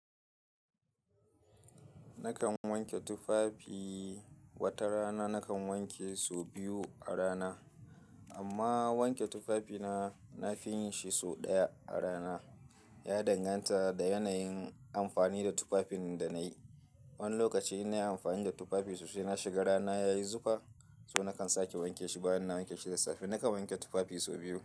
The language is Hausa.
Nakan wanke tufafi, wata rana nakan wanke su biyu a rana amma wanke tufafina, nafi yin shi so ɗaya a rana. Ya danganta da yanayin amfani da tufafin da na yi. Wani lokaci in na yi amfani da tufafi sosai na shiga rana ya yi zufa, so nakan sake wanke shi bayan na wanke shi da safe. Nakan wanke tufafi so biyu.